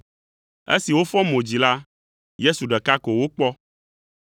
Esi wofɔ mo dzi la, Yesu ɖeka ko wokpɔ.